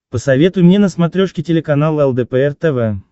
посоветуй мне на смотрешке телеканал лдпр тв